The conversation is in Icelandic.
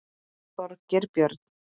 Þorgeir Björn.